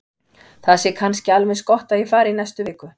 Það sé kannski alveg eins gott að ég fari í næstu viku.